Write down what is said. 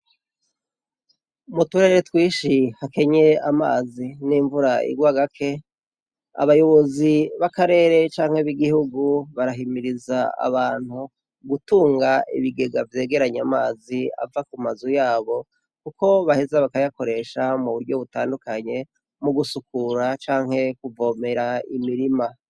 Mu turere twinshi hakenye amazi n'imvura igwa gake, abayobozi b'akarere canke b'igihugu barahimiriza abantu gutunga ibigega vyegeranya amazi ava ku mazu yabo kuko baheza bakayakoresha mu buryo butandukanye mu gusukura canke kuvomera imirima.